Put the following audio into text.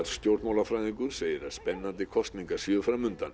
stjórnmálafræðingur segir að spennandi kosningar séu fram undan